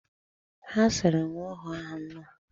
Ha siri nwa ọhụụ ahụ nnọọ.